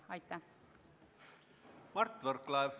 Mart Võrklaev, palun!